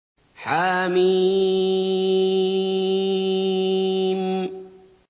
حم